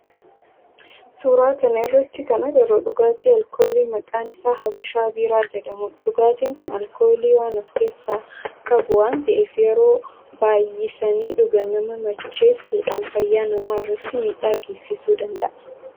suuraa kana irratti kan agarru dhugaatii alkoolii maqaan isaa habashaa biiraa jedhamudha. Dhugaatin kun alkoolii waan of keessaa qabu waan ta'eef yeroo baayyisanii dhugan nama macheessudhan fayyaa nama irratti midhaa geessisuu danda'a.